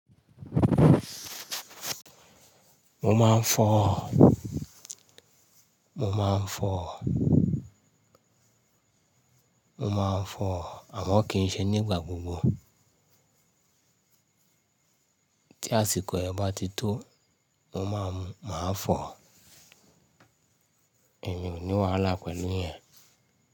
Mo máa ń fọ̀, mo máa ń fọ̀, mo máa ń fọ̀ àmọ́ kì í ṣe nígbà gbogbo. Tí àsìkò rẹ̀ bá ti tó mo máa, máa fọ̀. Èmi ò ní wàhálà pẹ̀lú ìyẹn.